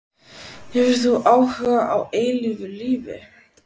Hefur þú áhuga á eilífu lífi?